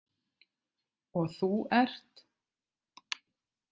Og þú ert?